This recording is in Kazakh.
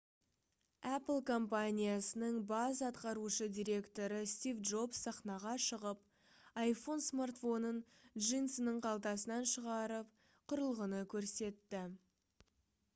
apple компаниясының бас атқарушы директоры стив джобс сахнаға шығып iphone смартфонын джинсының қалтасынан шығарып құрылғыны көрсетті